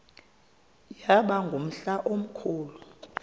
yaba ngumhla omkhulu